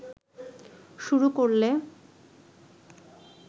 শুরু করলে